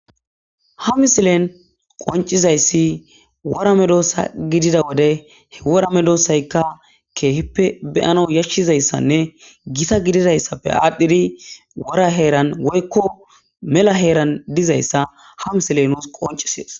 Ha missilen qonc'isizaysi wora medosa gidiza wode wora medosayka kehipe be'anaw yashizaysanne gita gidizaysape adhidi wora heran woyko mela heran dizaysa ha missile nus qonc'ises.